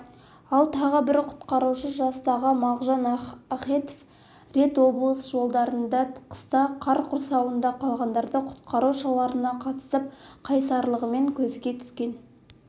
ал тағы бір құтқарушы жастағы мағжан ахетов рет облыс жолдарында қыста қар құрсауында қалғандарды құтқару шараларына қатысып қайсарлығымен көзге түскен